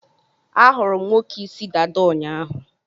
A hụrụ m nwoke ịsị dada ụnyaahụ